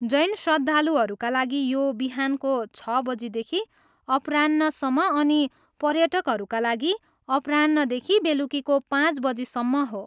जैन श्रद्धालुहरूका लागि यो बिहानको छ बजीदेखि अपराह्नसम्म अनि पर्यटकहरूका लागि अपराह्नदेखि बेलुकीको पाँच बजीसम्म हो।